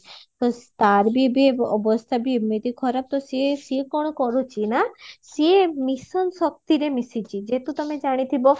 ତ ତାର ବି ଏବେ ଅବସ୍ଥା ବି ଏମିତି ଖରାପ ତ ସିଏ ସିଏ କଣ କରୁଚି ନାଁ ସିଏ mission ଶକ୍ତିରେ ମିଶିଚି ଯେହେତୁ ତମେ ଜାଣିଥିବ